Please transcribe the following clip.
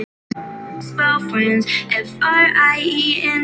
Gaf hann þér þetta?